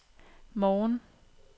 morgen